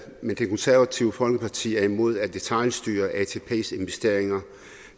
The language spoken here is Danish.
men det konservative folkeparti er imod at detailstyre atps investeringer